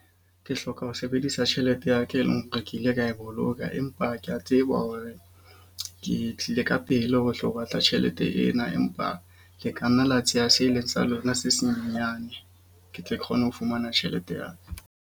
Ke hloka ho sebedisa tjhelete ya ka, e leng hore ke ile ka e boloka. Empa ke a tseba hore ke tlile ka pele ho tlo batla tjhelete ena. Empa le ka nna la tseya se leng sa lona, se senyane. Ke tle ke kgone ho fumana tjhelete ya ka.